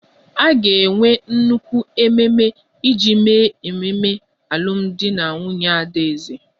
A ga-enwe nnukwu ememe iji mee ememe alụmdi na nwunye adaeze